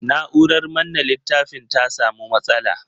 Na'urar manne littafin ta sa mu matsala.